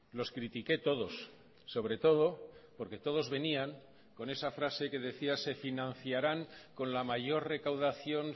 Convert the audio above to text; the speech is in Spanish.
los critiqué todos sobre todo porque todos venían con esa frase que decía se financiarán con la mayor recaudación